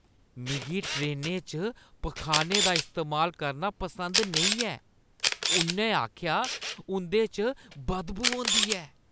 मिगी ट्रेनें च पखाने दा इस्तेमाल करना पसंद नेईं ऐ, उʼन्नै आखेआ, "उंʼदे च बदबू होंदी ऐ"